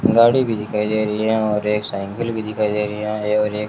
गाड़ी भी दिखाई दे रही है और एक साइकल भी दिखाई दे रही है और एक--